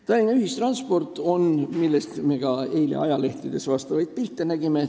Tallinna ühistranspordist me nägime eile ka ajalehtedes pilte.